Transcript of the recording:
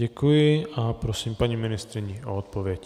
Děkuji a prosím paní ministryni o odpověď.